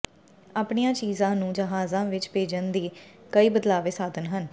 ਆਪਣੀਆਂ ਚੀਜ਼ਾਂ ਨੂੰ ਜਹਾਜ਼ਾਂ ਵਿੱਚ ਭੇਜਣ ਦੇ ਕਈ ਬਦਲਵੇਂ ਸਾਧਨ ਹਨ